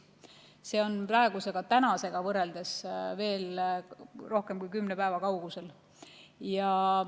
See on tänasest rohkem kui kümne päeva kaugusel.